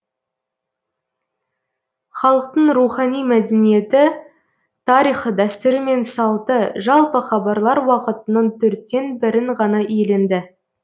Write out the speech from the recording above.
халықтың рухани мәдениеті тарихы дәстүрі мен салты жалпы хабарлар уақытының төрттен бірін ғана иеленді